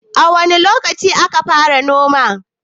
wane lokaci aka fara noma